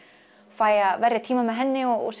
fæ að verja tíma með henni og